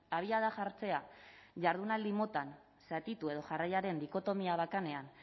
abiada jartzea jardunaldi motan zatitu edo jarraiaren dikotomia bakanean